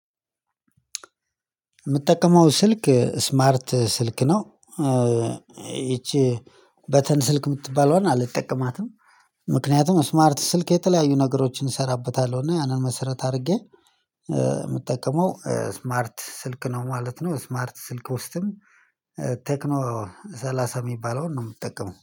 የምትጠቀመው ስልክ ስማርት ስልክ ነው? ይቺ በተን ስልክ የምትባለዋን አልጠቀማትም። ምክንያቱም ስማርት ስልክ የተለያዩ ነገሮችን እሰራበታለሁ እና ያንን መሰረት አድርጌ የምጠቀመው ስማርት ስልክ ነው ማለት ነው። ስማርት ስልክ ውስጥም ቴክኖ ሰላሳ የሚባለውን ነው የምትጠቀመው